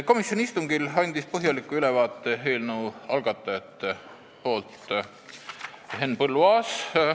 Komisjoni istungil andis eelnõu algatajate nimel põhjaliku ülevaate Henn Põlluaas.